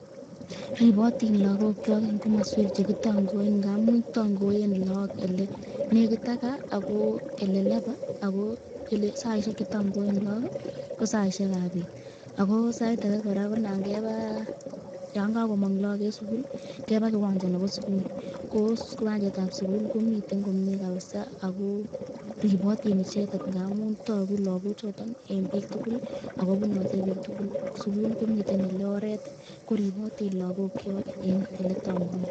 Ribotin lagokyok eng komoswek che kitangoen ngamun tangoen lagok ele nekit ak gaa ako ele labaa ako saisiek che tangoen lagok ii, ko saisiekab bet ako saitake kora ko nangebaa yon kakomong lagok en sukul ii, keba kiwanja nebo sukul, ko kiwanjetab sukul komiten komie kabisa ako ribotin icheket ngamun toku lagochoton en piik tugul ak kobunoti piik tugul sukul komiten ele oret ii koribotin lagokchok en oletangoen.